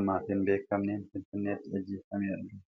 ammaaf hin beekamneen Finfinneetti ajjeefamee argame.